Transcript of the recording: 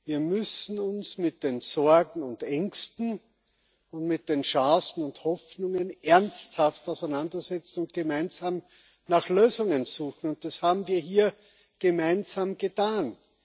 Wir müssen uns mit den Sorgen und Ängsten und mit den Chancen und Hoffnungen ernsthaft auseinandersetzen und gemeinsam nach Lösungen suchen, und das haben wir hier gemeinsam getan.